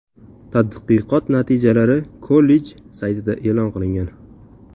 Tadqiqot natijalari kollej saytida e’lon qilingan .